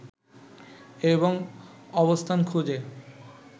এবং অবস্থান খুঁজে